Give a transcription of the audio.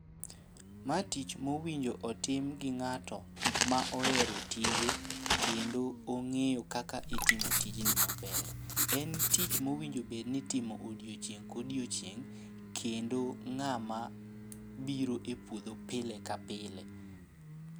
Ma tich mowinjo otim gi ng'ato ma ohero tije kendo ong'eyo kaka itimo tijni maber. En tich mowinjo bedni itimo odiochieng' kodiochieng', kendo ng'ama biro e puodho pile ka pile.